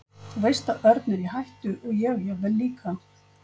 Þú veist að Örn er í hættu og ég jafnvel líka.